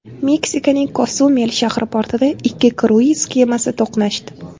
Meksikaning Kosumel shahri portida ikki kruiz kemasi to‘qnashdi.